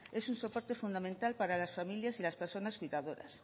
es un soporte fundamental para las familias y las personas cuidadoras